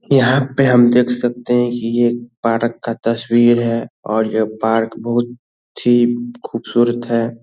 यहाँ पे हम देख सकते है की यह पार्क का तशवीर है और यह पार्क बहुत बहुत ही ख़ूबसूरत है ।